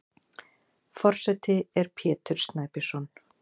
Forseti er Pétur Snæbjörnsson.